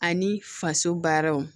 Ani faso baaraw